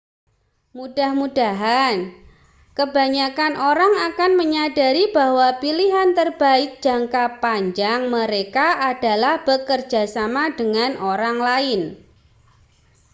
mudah-mudahan kebanyakan orang akan menyadari bahwa pilihan terbaik jangka panjang mereka adalah bekerja sama dengan orang lain